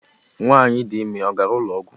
Nwanyị dịime ọ gara ụlọọgwụ?